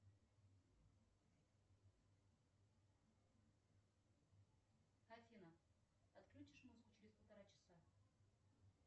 афина отключишь музыку через полтора часа